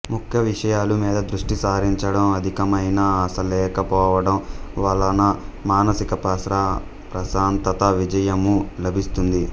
ముఖ్యవిషయాల మీద దృష్తి సారించడం అధికమైన ఆస లెక పొవడం వలన మానసిక ప్రశాంతత విజయము లభిస్తుంది